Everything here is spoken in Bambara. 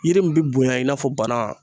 Yiri min be bonya i n'a fɔ bana